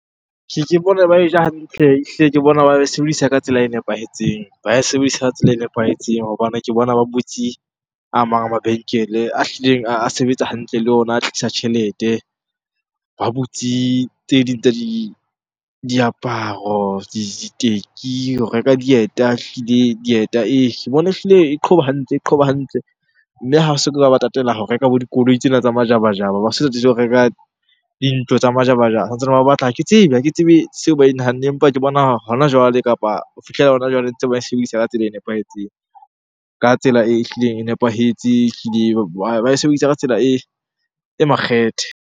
Ke bona e ba e ja hantle, ehlile ke bona ba e sebedisa ka tsela e nepahetseng. Ba e sebedisa ka tsela e nepahetseng hobane ke bona ba butse a mang a mabenkele a hlileng a sebetsa hantle le ona, a tlisa tjhelete. Ba butse tse ding tsa diaparo, diteki ho reka dieta, ehlile dieta . Ke bona ehlile e qhoba hantle, e qhoba hantle. Mme ha ba soka ba tatela ho reka bo dikoloi tsena tsa majabajaba, ha ba so tatele ho reka dintho tsa majabajaba. Santsane ba batla ha ke tsebe, ha ke tsebe seo ba e nahanneng. Empa ke bona hona jwale kapa ho fihlela hona jwale ntse ba e sebedisa ka tsela e nepahetseng. Ka tsela ehlileng e nepahetse, ehlileng. Ba e sebedisa ka tsela e makgethe.